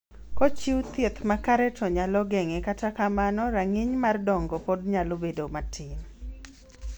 kochiu thieth makare to nyalo geng'e kata kamano rang'iny mar dongo samoro pod nyalo bedo matin